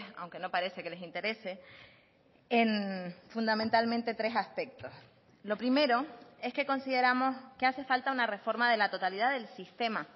aunque no parece que les interese en fundamentalmente tres aspectos lo primero es que consideramos que hace falta una reforma de la totalidad del sistema